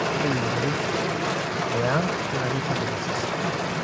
ore imotorik e ang naa keitobirr osesen